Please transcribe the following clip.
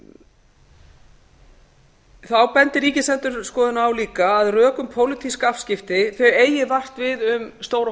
stjórnsýslulögum þá bendir ríkisendurskoðun á líka að rök um pólitísk afskipti eigi vart við um stóra